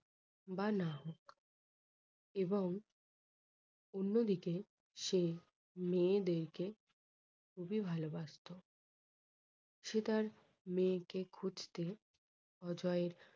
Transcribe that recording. বা না হোক এবং অন্যদিকে সে মেয়েদেরকে খুবই ভালোবাসতো। সে তার মেয়ে কে খুঁজতে অজয়